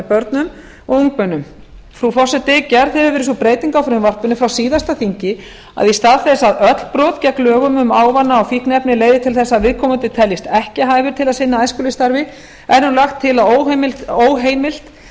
börnum og ungmennum frú forseti gerð hefur verið sú breyting á frumvarpinu frá síðasta þingi að í stað þess að öll brot gegn lögum um ávana og fíkniefni leiði til þess að viðkomandi teljist ekki hæfur til að sinna æskulýðsstarfi er nú lagt til að óheimilt